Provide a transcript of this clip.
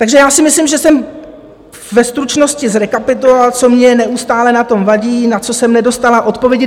Takže já si myslím, že jsem ve stručnosti zrekapitulovala, co mně neustále na tom vadí, na co jsem nedostala odpovědi.